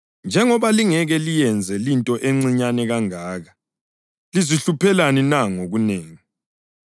Njengoba lingeke liyenze linto encinyane kangaka, lizihluphelani na ngokunengi?